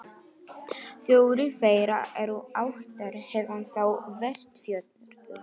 Fjórir þeirra eru ættaðir héðan frá Vestfjörðum.